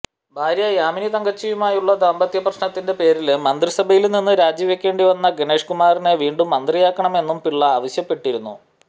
ഭാര്യ യാമിനി തങ്കച്ചിയുമായുള്ള ദാമ്പത്യപ്രശ്നത്തിന്റെ പേരില് മന്ത്രിസഭയില് നിന്ന് രാജിവയ്ക്കേണ്ടി വന്ന ഗണേഷ്കുമാറിനെ വീണ്ടും മന്ത്രിയാക്കണമെന്നും പിള്ള ആവശ്യപ്പെട്ടിരുന്നു